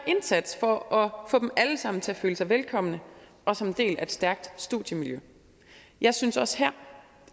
indsats for at få dem alle sammen til at føle sig velkomne og som en del af et stærkt studiemiljø jeg synes også